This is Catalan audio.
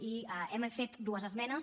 i hi hem fet dues esmenes